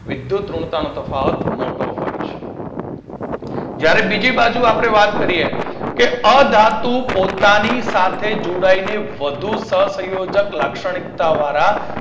વિદ્યુતઋણતાનો તફાવત મોટો હોય છે. જ્યારે બીજી બાજુ આપણે વાત કરીએ અધાતુ પોતાની સાથે જોડાઈને વધુ સહસંયોજક લાક્ષણિક્તા વારા